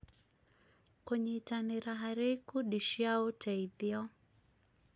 kũnyĩtanĩra harĩ ikundi cia ũteithio